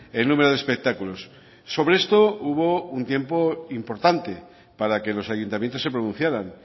el número de espectáculos sobre esto hubo un tiempo importante para que los ayuntamientos se pronunciaran